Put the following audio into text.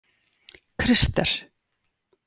Krister